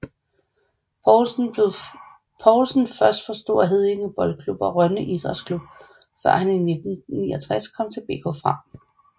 Poulsen først for Store Heddinge Boldklub og Rønne Idrætsklub før han i 1969 kom til BK Frem